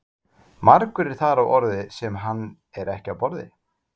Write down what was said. Margur er þar á orði sem hann er ekki á borði.